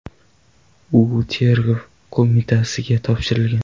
U Tergov qo‘mitasiga topshirilgan.